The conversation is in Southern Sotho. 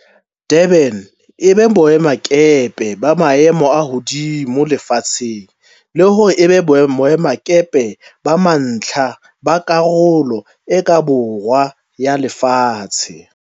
Durban e be boemakepe ba maemo a hodimo lefatsheng le hore e be boemakepe ba mantlha ba Karolo e ka Borwa ya Lefatshe.